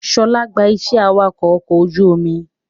Ṣọlá gba iṣẹ́ awakọ̀ ọkọ̀ ojú omi